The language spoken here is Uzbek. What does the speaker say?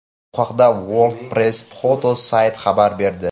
Bu haqda World Press Photo sayti xabar berdi .